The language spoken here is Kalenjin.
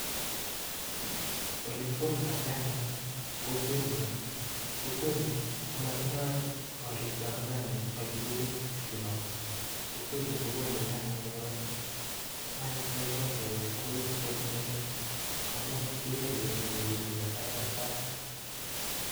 Olegigoldai nyanyek. eng kokwen nyuu matindai gorik chepkasari Kole nyanyek kewet akoeguu mising amun kiripei SAIT AK.sait